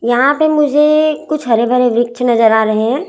यहां पे मुझे कुछ हरे भरे वृक्ष नजर आ रहे हैं।